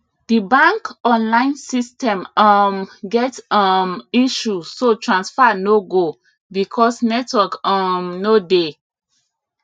the bank online system um get um issue so transfer no go because network um no dey